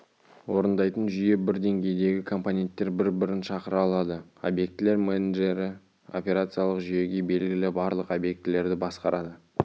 орындайтын жүйе бір деңгейдегі компоненттер бір-бірін шақыра алады объектілер менеджері операциялық жүйеге белгілі барлық объектілерді басқарады